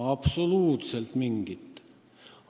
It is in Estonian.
Absoluutselt mitte mingit!